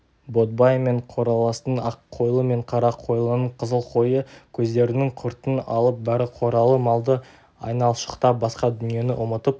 ботбай мен қораластың аққойлы мен қарақойлының қызыл қойы көздерінің құртын алып бәрі қоралы малды айналшықтап басқа дүниені ұмытып